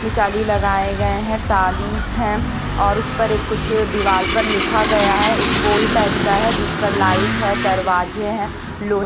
लगाए गए हैं तालीस है और उस पर एक कुछ दीवार पर लिखा गया है एक पोल टाइप का है जिस पर लाइट है दरवाजे हैं लो--